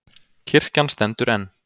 Kirkjan stendur enn